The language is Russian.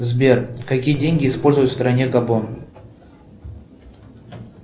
сбер какие деньги используют в стране габон